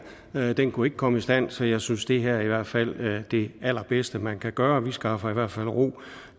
her den kunne ikke komme i stand så jeg synes at det her i hvert fald er det allerbedste man kan gøre vi skaffer i hvert fald ro